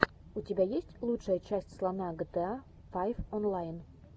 у тебя есть лучшая часть слона гта файв онлайн